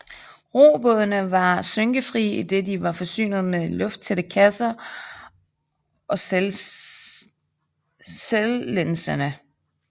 Robådene var skynkefrie idet de var forsynet med lufttætte kasser og selvlænsende